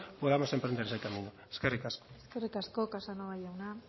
podamos emprender ese camino eskerrik asko eskerrik asko casanova jauna